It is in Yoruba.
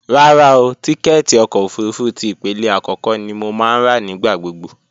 Rárá o, tíkẹ́ẹ̀tì ọkọ̀ òfurufú ti ìpele àkọ́kọ́ ni mo máa ń rà nígbà gbogbo